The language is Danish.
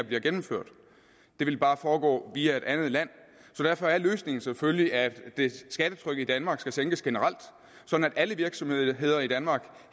blive gennemført det ville bare foregå via et andet land derfor er løsningen selvfølgelig at skattetrykket i danmark sænkes generelt sådan at alle virksomheder i danmark